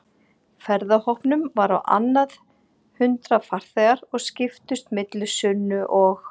ferðahópnum voru á annað hundrað farþegar og skiptust milli Sunnu og